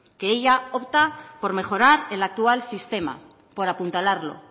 que ella opta por mejorar el actual sistema por apuntalarlo